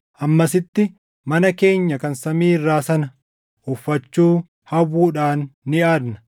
Hammasitti mana keenya kan samii irraa sana uffachuu hawwuudhaan ni aadna;